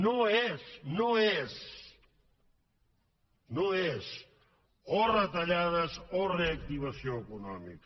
no és no és o retallades o reactivació econòmica